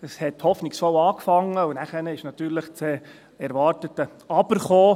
Es hat hoffnungsvoll angefangen und danach kam natürlich das erwartete «Aber».